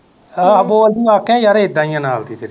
ਬੋਲਦੀ ਵਾਕਿਆ ਯਾਰ ਏਦਾ ਈ ਆ ਨਾਲਦੀ ਤੇਰੀ।